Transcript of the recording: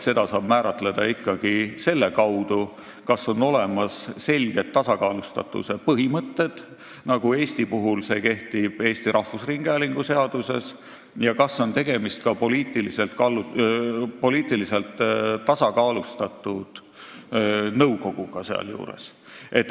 Seda saab määratleda ikka selle kaudu, kas on olemas selged tasakaalustatuse põhimõtted, nagu Eesti puhul on Eesti Rahvusringhäälingu seadusega kehtestatud, ja kas on tegemist ka poliitiliselt tasakaalustatud nõukoguga.